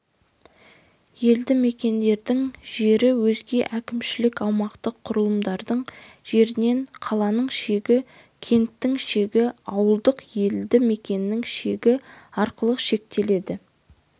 елді мекендердің жері өзге әкімшілік-аумақтық құрылымдардың жерінен қаланың шегі кенттің шегі ауылдық елді мекеннің шегі арқылы шектеледі